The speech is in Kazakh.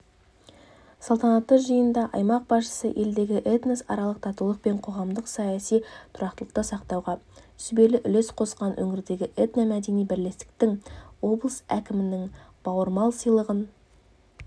салтанатты жиында аймақ басшысы елдегі этносаралық татулық пен қоғамдық-саяси тұрақтылықты сақтауға сүбелі үлес қосқан өңірдегі этномәдени бірлестіктерге облыс әкімінің бауырмал сыйлығын